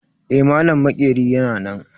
Eh, malam maƙerin yana nan.